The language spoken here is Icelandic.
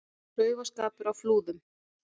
Klaufaskapur á Flúðum